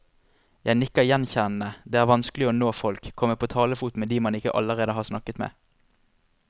Jeg nikker gjenkjennende, det er vanskelig å nå folk, komme på talefot med de man ikke allerede har snakket med.